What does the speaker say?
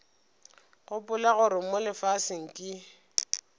gopola gore mo lefaseng ke